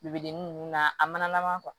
Bibidennin ninnu na a mana laban